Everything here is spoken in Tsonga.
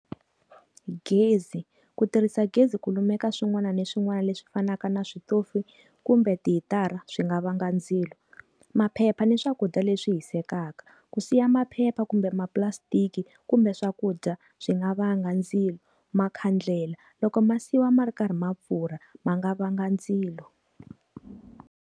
Gezi, ku tirhisa gezi ku lumeka swin'wana na swin'wana leswi fanaka na switofu kumbe tihitara swi nga vanga ndzilo. Maphepha ni swakudya leswi hisekaka. Ku siya maphepha kumbe mapulasitiki kumbe swakudya swi nga vanga ndzilo. Makhandlela. Loko ma siyiwa ma ri karhi ma pfurha ma nga vanga ndzilo.